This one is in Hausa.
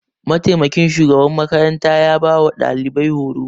Mataimakin shugaban makarantar ya ba wa ɗalibai horo.